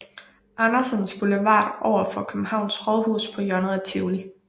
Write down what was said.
Andersens Boulevard overfor Københavns Rådhus på hjørnet af Tivoli